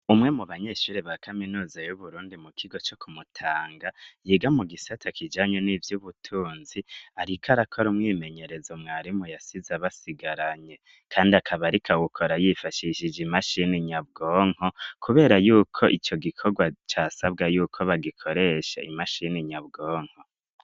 Umwe mu banyeshuri ba kaminuza yu Burundi mu kigo co ku Mutanga yiga mu gisata kijanye n'ivyubutunzi ariko arakora mwimenyerezo mwarimu yasize abasigaranye kandi akaba arika wukora yifashishije imashini nyabwonko kubera yuko ico gikorwa casabwa yuko bagikoresha imashini nyabwonko.